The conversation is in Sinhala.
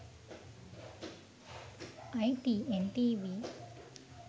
itn tv